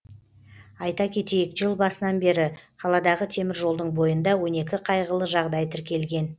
айта кетейік жыл басынан бері қаладағы теміржолдың бойында он екі қайғылы жағдай тіркелген